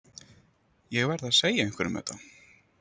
Ég verð að segja einhverjum þetta.